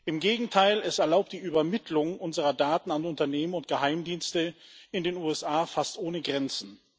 Im Gegenteil Es erlaubt die Übermittlung unserer Daten an Unternehmen und Geheimdienste in den USA fast ohne Grenzen.